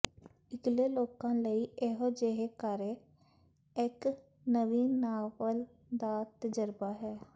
ਇਕਲੇ ਲੋਕਾਂ ਲਈ ਇਹੋ ਜਿਹੇ ਕਾਰੇ ਇਕ ਨਵੀਂ ਨਾਵਲ ਦਾ ਤਜ਼ਰਬਾ ਹੈ